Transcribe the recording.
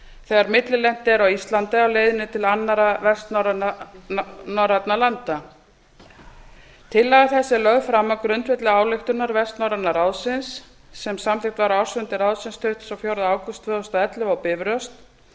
þegar millilent er á íslandi á leiðinni til annarra vestnorrænna landa tillaga þessi er lögð fram á grundvelli ályktunar vestnorræna ráðsins sem samþykkt var á ársfundi ráðsins tuttugasta og fjórða ágúst tvö þúsund og ellefu á bifröst